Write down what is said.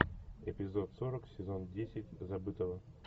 эпизод сорок сезон десять забытого